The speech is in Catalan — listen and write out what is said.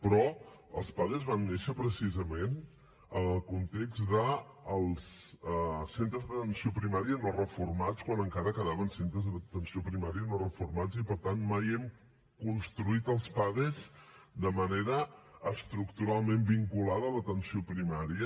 però els pades van néixer precisament en el context dels centres d’atenció primària no reformats quan encara quedaven centres d’atenció primària no reformats i per tant mai hem construït els pades de manera estructuralment vinculada a l’atenció primària